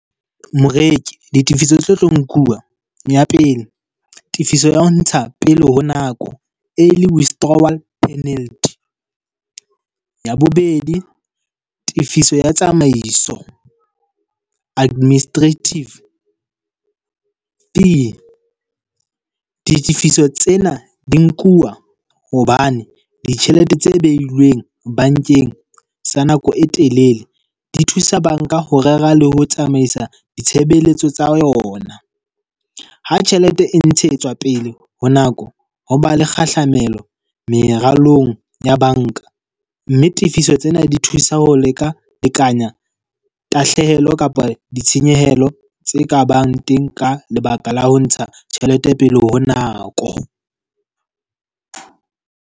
Moreki, ditefiso di tlo tlo nkuwa. Ya pele, tefiso ya ho ntsha pele ho nako, early withdrawal penalty. Ya bobedi, tefiso ya tsamaiso, administrative. Di ditifiso tsena di nkuwa hobane ditjhelete tse beilweng bankeng sa nako e telele di thusa banka ho rera le ho tsamaisa ditshebeletso tsa yona. Ha tjhelete e ntshetswa pele ho nako. Ho ba le kgahlamelo meralong ya banka. Mme tifiso tsena di thusa ho leka lekanya tahlehelo kapa ditshenyehelo tse kabang teng ka lebaka la ho ntsha tjhelete pele ho nako.